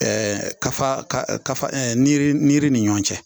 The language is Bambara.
kafa ka niri niri ni ɲɔgɔn cɛ